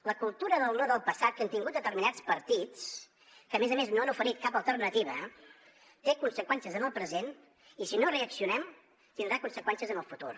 la cultura del no del passat que han tingut determinats partits que a més a més no han ofert cap alternativa té conseqüències en el present i si no reaccionem tindrà conseqüències en el futur